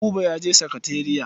Buba ya je sakatariya.